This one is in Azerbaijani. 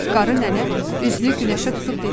Qarı nənə üzünü Günəşə tutub dedi: